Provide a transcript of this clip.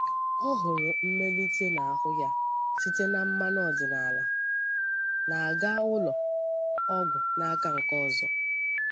Ọ hụrụ mmelite n’ahụ́ ya site na mmanụ ọdịnala, na-aga ụlọ ọgwụ n’aka nke ọzọ.